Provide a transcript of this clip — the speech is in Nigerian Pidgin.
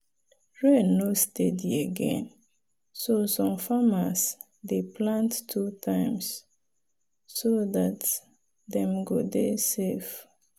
rain no steady again so some farmers dey plant two times so dat dem go dey safe.